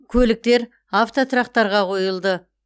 көліктер автотұрақтарға қойылды